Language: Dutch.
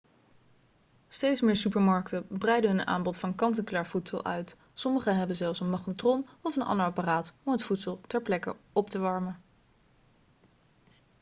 steeds meer supermarkten breiden hun aanbod van kant-en-klaar voedsel uit sommige hebben zelfs een magnetron of een ander apparaat om het voedsel ter plekke op te warmen